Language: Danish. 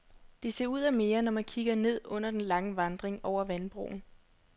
Det ser ud af mere, når man kikker ned under den lange vandring over vandbroen.